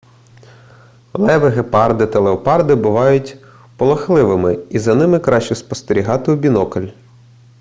леви гепарди та леопарди бувають полохливими і за ними краще спостерігати у бінокль